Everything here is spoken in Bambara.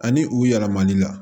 Ani u yɛlɛmani la